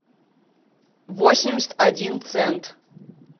восемьдесят один цент